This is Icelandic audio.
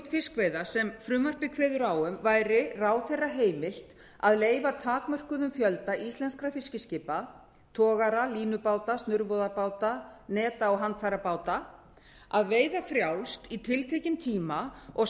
fiskveiða sem frumvarpið kveður á um væri ráðherra heimilt að leyfa takmörkuðum fjölda íslenskra fiskiskipa togara línubáta snurvoðarbáta netabáta og handfærabáta að veiða frjálst í tiltekinn tíma og